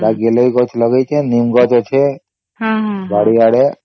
ସେଟା ଗିଲଇ ଗଛ ଲଗେଇଛି ନିମ ଗଛ ଅଛେ ବାରି ଆଡେ